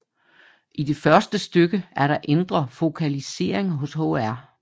I det første stykke er der indre fokalisering hos Hr